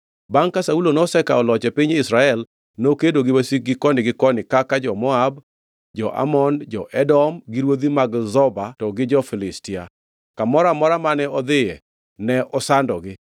Bangʼ ka Saulo nosekawo loch e piny Israel, nokedo gi wasikgi koni gi koni kaka jo-Moab, jo-Amon, jo-Edom, gi ruodhi mag Zoba to gi jo-Filistia. Kamoro amora mane odhiye ne osandogi.